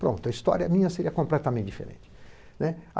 Pronto, a história minha seria completamente diferente, né?